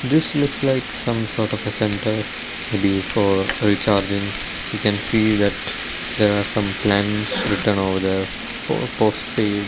this looks like some sort of a centre may be for recharging we can see that there are some plans written over there for postpaid.